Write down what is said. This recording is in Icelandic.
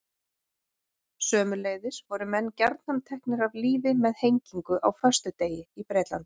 Sömuleiðis voru menn gjarnan teknir af lífi með hengingu á föstudegi í Bretlandi.